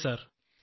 അതെ സർ